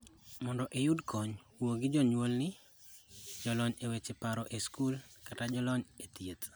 Mondo iyud kony, wuo gi jonyuolni, jonyol e weche paro e skul, kata jonyol e thieth.